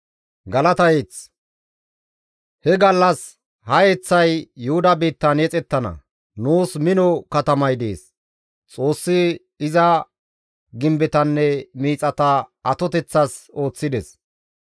He gallas ha yeththay Yuhuda biittan yexettana. Nuus mino katamay dees; Xoossi iza gimbetanne miixata atoteththas ooththides.